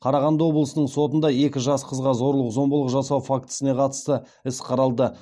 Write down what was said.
қарағанды облысының сотында екі жас қызға зорлық зомбылық жасау фактісіне қатысты іс қаралды